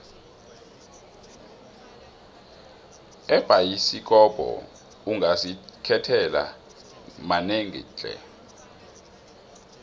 ebhayisikopo ungazikhethela manengi tle